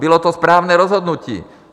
Bylo to správné rozhodnutí.